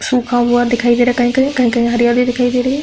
सुखा हुआ दिखाई दे रहा है कही-कही। कही-कही हरियाली दिखाई दे रही है।